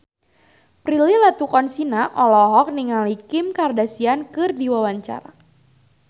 Prilly Latuconsina olohok ningali Kim Kardashian keur diwawancara